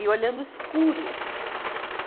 E olhando o escuro.